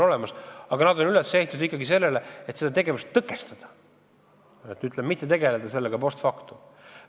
Samas on need tegelikult ikkagi üles ehitatud soovile seda tegevust tõkestada, mitte tegeleda toimunuga post factum.